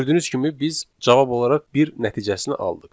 Gördüyünüz kimi, biz cavab olaraq bir nəticəsini aldıq.